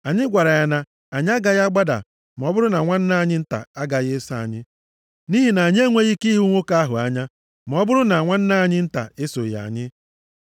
anyị gwara ya na, ‘Anyị agaghị agbada ma ọ bụrụ na nwanne anyị nta agaghị eso anyị. Nʼihi na anyị enweghị ike ịhụ nwoke ahụ anya, ma ọ bụrụ na nwanne anyị nta esoghị anyị.’